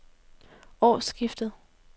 årsskiftet